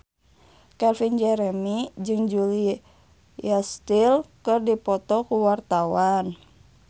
Calvin Jeremy jeung Julia Stiles keur dipoto ku wartawan